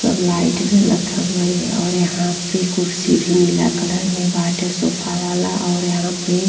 सब लाइट जलत हउवे और यहाँ पे कुर्सी भी नीला कलर में बाटे सोफा वाला और यहाँ पे --